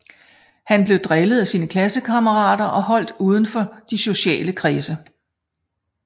Han blev drillet af sine klassekammerater og holdt uden for de sociale kredse